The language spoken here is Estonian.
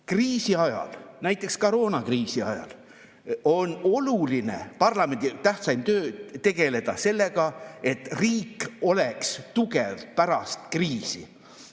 Kriisi ajal, näiteks koroonakriisi ajal on parlamendi tähtsaim töö tegeleda sellega, et riik oleks tugev pärast kriisi.